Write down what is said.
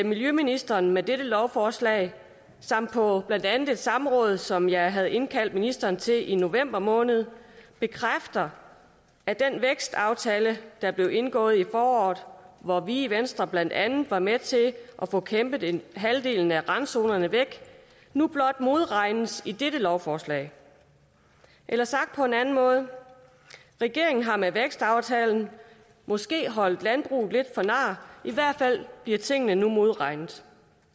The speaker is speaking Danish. miljøministeren med dette lovforslag samt på blandt andet et samråd som jeg havde indkaldt ministeren til i november måned bekræfter at den vækstaftale der blev indgået i foråret hvor vi i venstre blandt andet var med til at få kæmpet halvdelen af randzonerne væk nu blot modregnes i dette lovforslag eller sagt på en anden måde regeringen har med vækstaftalen måske holdt landbruget lidt for nar i hvert fald bliver tingene nu modregnet